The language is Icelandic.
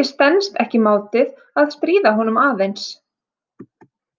Ég stenst ekki mátið að stríða honum aðeins.